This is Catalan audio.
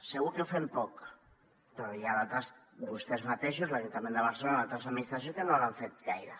segur que ho fem poc però n’hi ha d’altres vostès mateixos l’ajuntament de barcelona i altres administracions que no ho han fet gaire